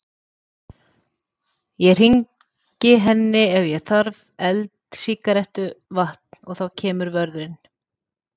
Ég hringi henni ef ég þarf eld, sígarettu, vatn. og þá kemur vörðurinn.